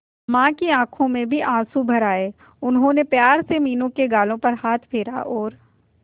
मां की आंखों में भी आंसू भर आए उन्होंने प्यार से मीनू के गालों पर हाथ फेरा और